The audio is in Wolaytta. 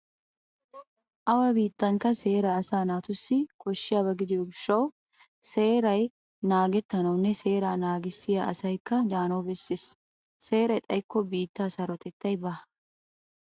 Awa biitankka seeray asaa naatussi koshshiyaba gidiyo gishshawu seeray naagettanawunne seeraa naagissiya asaykka de'anawu bessees. Seeray xaykko biittaa sarotettaykka baawa.